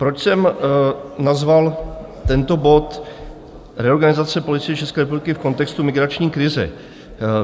Proč jsem nazval tento bod Reorganizace Policie České republiky v kontextu migrační krize?